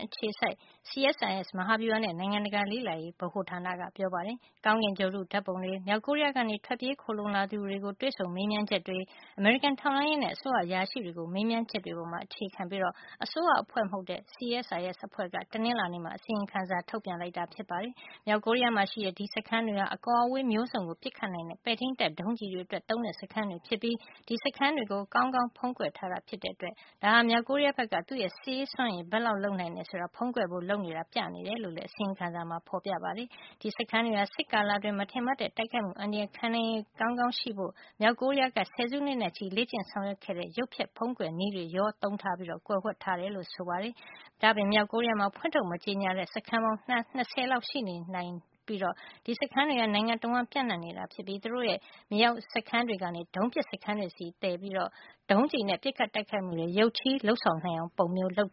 အခြေစိုက် CSIS မဟာဗျူဟာနဲ့ နိုင်ငံတကာ လေ့လာရေး ဗဟိုဌာနက ပြောပါတယ်။ ကောင်းကင်ဂြိုဟ်တု ဓါတ်ပုံတွေ၊ မြောက်ကိုရီးယား ကနေ ထွက်ပြေးခိုလှုံလာသူတွေကို တွေ့ဆုံမေးမြန်းချက်တွေ၊ အမေရိကန် ထောက်လှန်းရေးနဲ့ အစိုးရ အရာရှိတွေကို မေးမြန်းချက်တွေပေါ် အခြေခံပြီး အစိုးရအဖွဲ့မဟုတ်တဲ့ CSIS အဖွဲ့က တနင်္လာနေ့မှာ အစီရင်ခံစာ တစောင်ထုတ်ပြန်ခဲ့တာ ဖြစ်ပါတယ်။ မြောက်ကိုရီးယားမှာ ရှိတဲ့ ဒီစခန်းတွေဟာ အကွာဝေးမျိုးစုံကို ပစ်ခတ်နိုင်တဲ့ ပဲ့ထိန်းတပ် ဒုံးကျည်တွေ အတွက် သုံးတဲ့ စခန်းတွေ ဖြစ်ပြီး ဒီစခန်းတွေကို ကောင်းကောင်းဖုံးကွယ်ထားတာ ဖြစ်တဲ့အတွက် ဒါဟာ မြောက်ကိုရီးယားဘက်က သူ့ရဲ့ စစ်ရေးစွမ်းရည်ဘယ်လောက် လုပ်နိုင်တယ် ဆိုတာကို ဖုံးကွယ်ဖို့ လုပ်နေတာကို ပြနေတယ်လို့လည်း အစီရင်ခံစာမှာ ဖေါ်ပြထားပါတယ်။ ဒီစခန်းတွေဟာ စစ်ကာလအတွင်း မထင်မှတ်တဲ့ တိုက်ခိုက်မှုအန္တရာယ်ကို ခံနိုင်ရည်ကောင်းကောင်း ရှိစေဖို့ မြောက်ကိုရီးယားက ဆယ်စုနှစ်နဲ့ ချီပြီး လေ့ကျင့်ဆောင်ရွက်ခဲ့တဲ့ ရုပ်ဖျက်၊ ဖုံးကွယ်တဲ့ နည်းတွေကိုပါ ရောနှောသုံးထားပြီး ကွယ်ဝှက်ထားတယ်လို့လည်း ပြောပါတယ်။ ဒါ့အပြင် မြောက်ကိုရီးယားမှာ ဖွင့်ထုတ် မကြေညာသေးတဲ့ စခန်းပေါင်း ၂၀ လောက် ရှိနေနိုင်တယ်လို့လည်း အစီရင်ခံစာမှာ ဖေါ်ပြထား ပါတယ်။ ဒီစခန်းတွေဟာ နိုင်ငံတဝှမ်း ပြန့်နှံ့နေတာ ဖြစ်ပြီး သူတို့ရဲ့မြေအောက်စခန်းတွေကနေ ဒုံးပစ်စခန်းတွေဆီကို သယ်ပို့ပြီး ဒုံးကျည်နဲ့ ပစ်ခတ် တိုက်ခိုက်မှုတွေ ရုတ်ချည်း လုပ်ဆောင်နိုင်အောင် ပုံစံမျိုး လုပ်